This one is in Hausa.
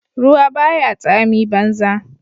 Ruwa baya tsami banza